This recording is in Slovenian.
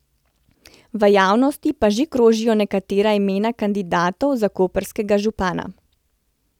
V javnosti pa že krožijo nekatera imena kandidatov za koprskega župana.